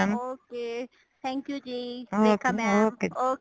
ok thank you ji Rekha mam